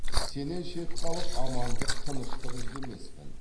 сенен шет қалып амандық тыныштық іздемеспін